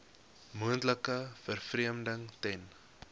moontlike vervreemding ten